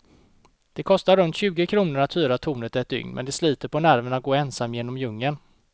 Det kostar runt tjugo kronor att hyra tornet ett dygn, men det sliter på nerverna att gå ensam genom djungeln.